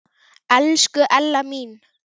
Elsku Ella mín.